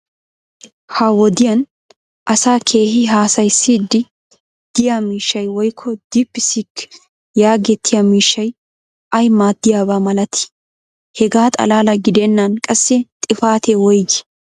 ha wodiyan asaa keehi haasayissiidi diyaa miishshay woykko diipisiikki yaagetettiyaa miishshay ayi maadiyaaba malatii? hegaa xalaala gidennan qassi xifatee woygii?